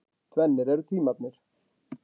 Tvennir eru tímarnir.